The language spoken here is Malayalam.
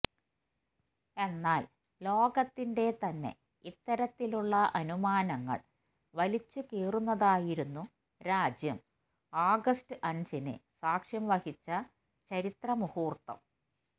എന്നാൽ ലോകത്തിന്റെ തന്നെ ഇത്തരത്തിലുള്ള അനുമാനങ്ങൾ വലിച്ചു കീറുന്നതായിരുന്നു രാജ്യം ആഗസ്റ്റ് അഞ്ചിന് സാക്ഷ്യം വഹിച്ച ചരിത്ര മുഹൂർത്തം